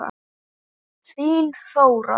Þín, Þóra.